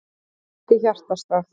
Beint í hjartastað